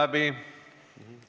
Aeg on läbi!